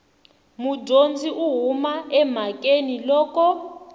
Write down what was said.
mudyondzi u huma emhakeni loko